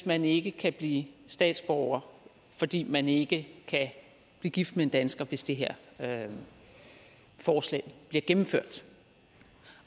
man ikke kan blive statsborger fordi man ikke kan blive gift med en dansker hvis det her her forslag bliver gennemført